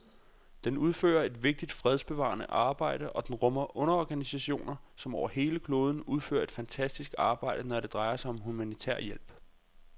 Den udfører et vigtigt fredsbevarende arbejde, og den rummer underorganisationer, som over hele kloden udfører et fantastisk arbejde, når det drejer sig om humanitær hjælp.